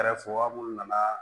Kɛrɛfɛwa minnu nana